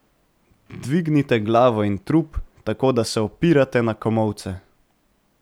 Dvignite glavo in trup, tako da se opirate na komolce.